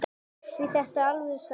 Því þetta er alvöru saga.